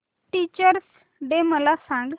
teachers day मला सांग